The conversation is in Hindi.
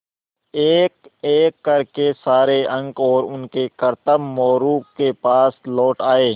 एकएक कर के सारे अंक और उनके करतब मोरू के पास लौट आये